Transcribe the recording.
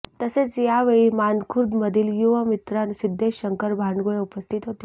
तसेच यावेळी मानखुर्द मधील युवामित्र सिध्देश शंकर भांडुगळे उपस्थित होते